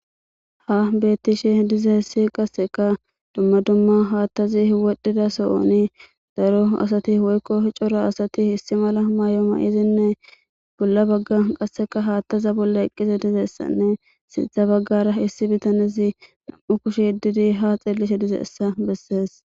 Ha bettishe dize hessi qasseka dumma dumma haattazi wodhdhida so7oni daro asati woykko hicora asati hissi mala maayo ma7izinne bolla bagga qasseka haattaza bolla eqqize dizeessanne sintha baggara issi bitanizi nam7u kushi didi ha xillishe dizeessa bessees.